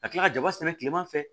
Ka tila ka jaba sɛnɛ kilema fɛ